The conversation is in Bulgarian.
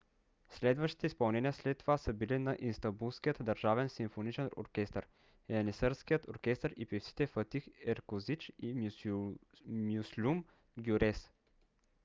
следващите изпълнения след това са били на истанбулският държавен симфоничен оркестър янисарският оркестър и певците фатих еркозич и мюслюм гюрес